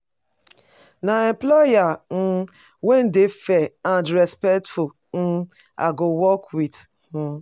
Na employer um wey dey fair and respectful um i go work with. um